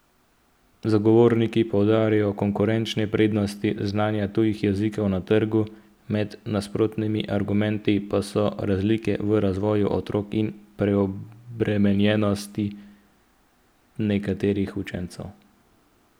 Zagovorniki poudarjajo konkurenčne prednosti znanja tujih jezikov na trgu, med nasprotnimi argumenti pa so razlike v razvoju otrok in preobremenjenost nekaterih učencev.